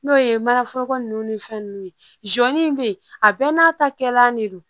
N'o ye manaforoko nunnu ni fɛn nunnu ye jɔnni be yen a bɛɛ n'a ta kɛla de don